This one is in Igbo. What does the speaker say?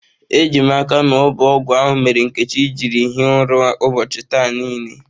Ejim aka na ọbụ ọgwụ ahụ mere Nkechi jiri hie ụra ụbọọchi taa nile.